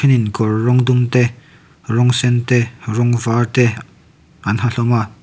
miin kawr rawng dum te rawng sen te rawng var te an ha hlawm a.